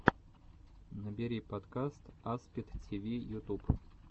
набери подкаст аспид тиви ютуб